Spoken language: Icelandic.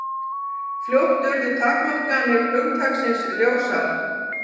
Fljótt urðu takmarkanir hugtaksins ljósar.